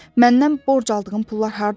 Məndən borc aldığım pullar hardadır?